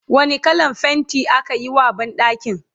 wani kallan fainti akayi wa banɗakin?